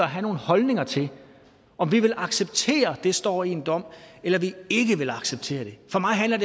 have nogle holdninger til om vi vil acceptere det står i en dom eller vi ikke vil acceptere det for mig handler